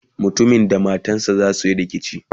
mutumin da matansa zasuyi rikici?